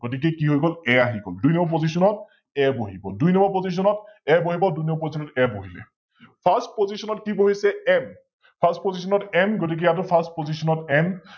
গতিকে কি হৈ গল A আহি গল, দুই নম্বৰ Postion ত A বহি গল, দুই নম্বৰ Postion ত A বহিব, দুই নম্বৰ Postion ত A বহিলে । FirstPostion ত কি বহিছে M । FirstPostion ত M গতিকে ইয়াতো FirstPostionM